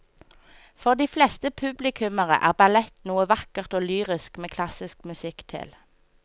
For de fleste publikummere er ballett noe vakkert og lyrisk med klassisk musikk til.